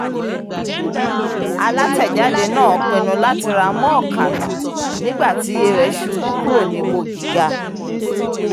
alátẹ̀jáde náà pinnu láti ra mọ́ọ̀kànà nígbà tí iye rẹ̀ ṣubú kúrò níbo gíga